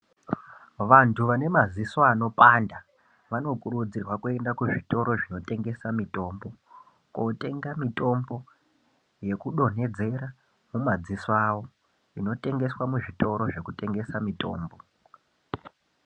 Vanthu vane maziso anopanda, vanokurudzirwa kuenda kuzvitoro zvinotengesa mitombo, kootenga mitombo, yekudonhedzera madziso awo, inotengeswa muzvitoro zvinotengesa mitombo.